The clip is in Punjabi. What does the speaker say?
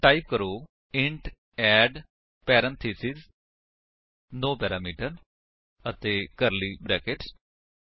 ਹੁਣ ਟਾਈਪ ਕਰੋ int add parenthesis no parameter ਅਤੇ ਕਰਲੀ ਬਰੈਕੇਟਸ